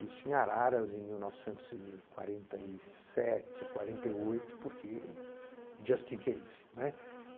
Isso em Araras, em mil novecentos e quarenta e sete, quarenta e oito, porque just in case, né?